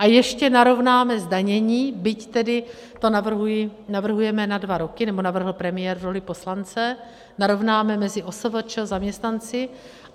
A ještě narovnáme zdanění, byť tedy to navrhujeme na dva roky, nebo navrhl premiér v roli poslance, narovnáme mezi OSVČ, zaměstnanci.